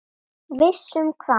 Viss um hvað?